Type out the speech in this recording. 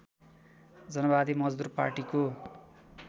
जनवादी मजदुर पार्टीको